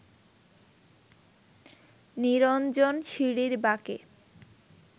নিরঞ্জন সিঁড়ির বাঁকে